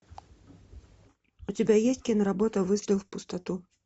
у тебя есть киноработа выстрел в пустоту